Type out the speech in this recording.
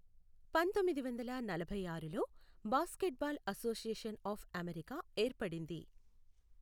పంతొమ్మిది వందల నలభై ఆరులో బాస్కెట్బాల్ అసోసియేషన్ ఆఫ్ అమెరికా ఏర్పడింది.